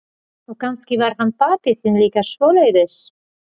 Og kannski var hann pabbi þinn líka svoleiðis.